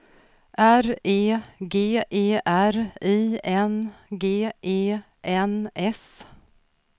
R E G E R I N G E N S